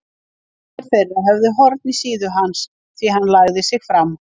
Sumir þeirra höfðu horn í síðu hans því hann lagði sig fram.